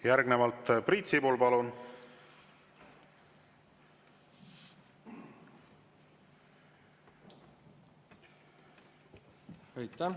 Järgnevalt Priit Sibul, palun!